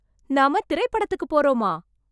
நாம திரைப்படத்துக்கு போறோமா...